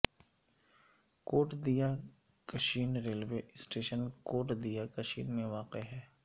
کوٹ Diya Kishan railway station Kot Diya Kishan میں واقع ہے